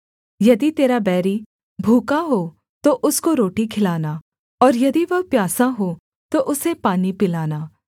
यदि तेरा बैरी भूखा हो तो उसको रोटी खिलाना और यदि वह प्यासा हो तो उसे पानी पिलाना